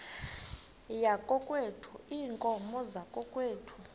yakokwethu iinkomo zakokwethu